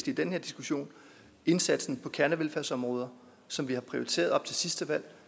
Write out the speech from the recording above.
i den her diskussion indsatsen på kernevelfærdsområder som vi har prioriteret op til sidste valg og